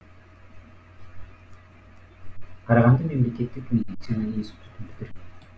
карағанды мемлекеттік медицина институтын бітірген